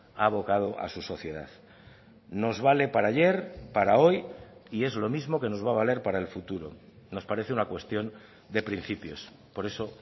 ha abocado a su sociedad nos vale para ayer para hoy y es lo mismo que nos va a valer para el futuro nos parece una cuestión de principios por eso